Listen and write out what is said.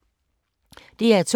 DR2